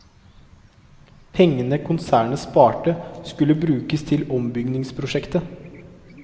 Pengene konsernet sparte, skulle brukes til ombyggingsprosjektet.